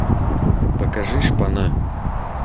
покажи шпана